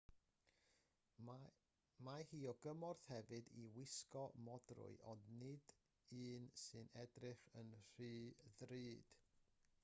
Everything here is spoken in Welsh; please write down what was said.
mae hi o gymorth hefyd i wisgo modrwy ond nid un sy'n edrych yn rhy ddrud